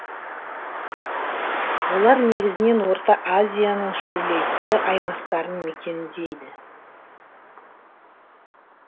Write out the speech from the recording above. олар негізінен орта азияның шөлейтті аймақтарын мекендейді